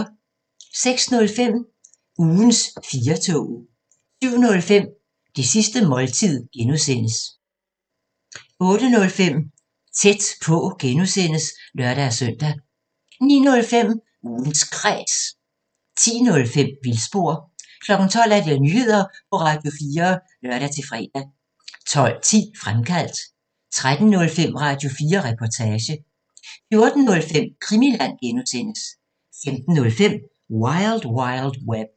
06:05: Ugens 4-toget 07:05: Det sidste måltid (G) 08:05: Tæt på (G) (lør-søn) 09:05: Ugens Kræs 10:05: Vildspor 12:00: Nyheder på Radio4 (lør-fre) 12:10: Fremkaldt 13:05: Radio4 Reportage 14:05: Krimiland (G) 15:05: Wild Wild Web